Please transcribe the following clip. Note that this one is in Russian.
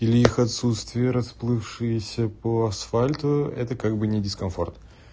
или их отсутствие расплывшиеся по асфальту это как бы не дискомфорт